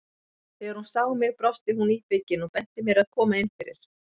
Þegar hún sá mig brosti hún íbyggin og benti mér að koma inn fyrir.